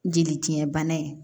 Jeli tiɲɛ bana ye